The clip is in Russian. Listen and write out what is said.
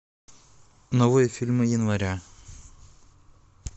новые фильмы января